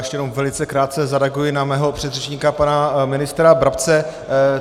Ještě jenom velice krátce zareaguji na svého předřečníka pana ministra Brabce.